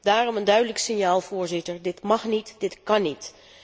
Daarom een duidelijk signaal, Voorzitter dit mag niet, dit kan niet!